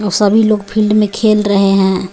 और सभी लोग फील्ड में खेल रहे हैं.